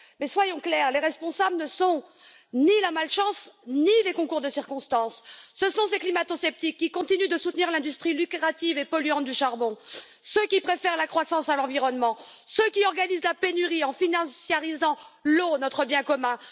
Soyons pourtant clairs, les responsables ne sont ni la malchance, ni les concours de circonstances ce sont ces climato sceptiques qui continuent de soutenir l'industrie lucrative et polluante du charbon, ceux qui préfèrent la croissance à l'environnement, ceux qui organisent la pénurie en financiarisant l'eau, notre bien commun.